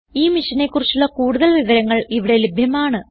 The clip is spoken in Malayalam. ഈ മിഷനെ കുറിച്ചുള്ള കുടുതൽ വിവരങ്ങൾ ഇവിടെ ലഭ്യമാണ്